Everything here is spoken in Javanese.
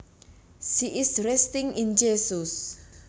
She is resting in Jesus